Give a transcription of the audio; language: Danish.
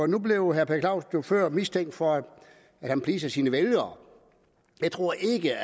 nu blev herre per jo før mistænkt for at please sine vælgere jeg tror ikke